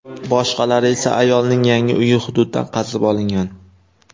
Boshqalari esa ayolning yangi uyi hududidan qazib olingan.